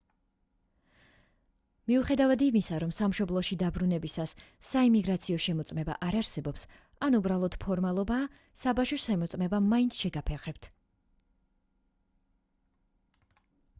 მიუხედავად იმისა რომ სამშობლოში დაბრუნებისას საიმიგრაციო შემოწმება არ არსებობს ან უბრალოდ ფორმალობაა საბაჟო შემოწმება მაინც შეგაფერხებთ